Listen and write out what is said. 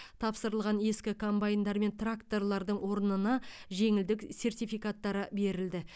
тапсырылған ескі комбайндар мен тракторлардың орнына жеңілдік сертификаттары берілді